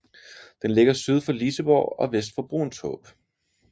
Den ligger syd for Liseborg og vest for Bruunshåb